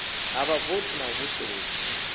ha vhavothi na u vusuluswa